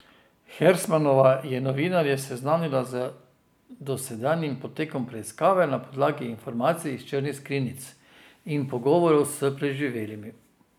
Hersmanova je novinarje seznanila z dosedanjim potekom preiskave na podlagi informacij iz črnih skrinjic in pogovorov s preživelimi.